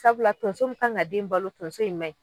Sabula tonso min kan ka den in balo tonso in ma ɲi